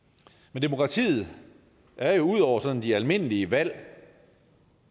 men demokratiet er jo ud over sådan de almindelige valg